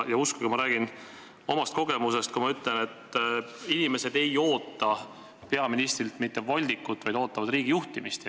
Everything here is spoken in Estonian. Uskuge, ma räägin omast kogemusest, kui ma ütlen, et inimesed ei oota peaministrilt mitte voldikut, vaid riigi juhtimist.